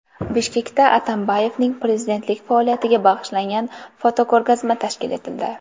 Bishkekda Atambayevning prezidentlik faoliyatiga bag‘ishlangan fotoko‘rgazma tashkil etildi.